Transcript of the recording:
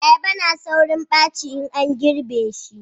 ayaba na saurin baci in an girbe shi